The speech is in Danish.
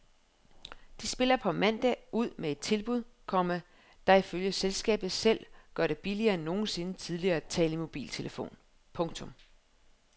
De spiller på mandag ud med et tilbud, komma der ifølge selskabet selv gør det billigere end nogensinde tidligere at tale i mobiltelefon. punktum